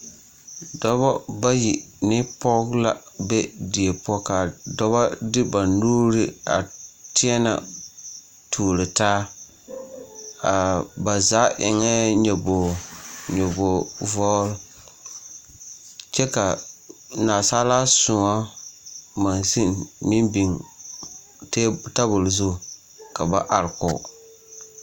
Dɔbɔ bayi ne pɔge la be die poɔ, k'a dɔbɔ de ba nuuri a teɛnɛ tuuro taa, ba zaa eŋɛɛ nyobogi vɔgele kyɛ k'a nasaalaa sõɔ monsini meŋ biŋ tabol zu ka ba are kɔge.